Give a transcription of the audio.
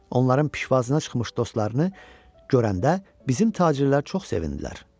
Onların pişvazına çıxmış dostlarını görəndə bizim tacirlər çox sevindilər.